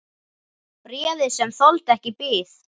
Bréfið, sem þoldi ekki bið